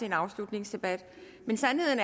en afslutningsdebat men sandheden